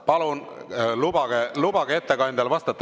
Palun lubage ettekandjal vastata!